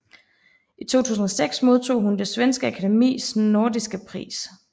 I 2006 modtog hun Det Svenske Akademis Nordiska Pris